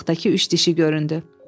Qabaqdakı üç dişi göründü.